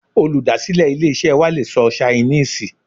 Olùdásílè ilé-isẹ́ wa le sọ Ṣainíìsì